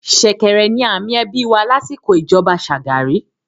“ ṣẹ̀kẹ̀rẹ̀” ni àmì ẹbí wà lásìkò ìjọba Shagari.